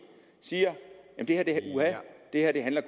siger at det her